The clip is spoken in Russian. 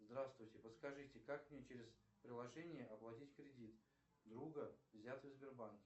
здравствуйте подскажите как мне через приложение оплатить кредит друга взятый в сбербанке